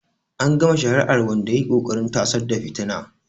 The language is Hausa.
An gama shari'ar wanda ya yi ƙoƙarin tasar da fitina.